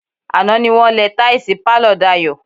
Àná ni wọ́n lẹ táìsì pálọ̀ Dayọ̀.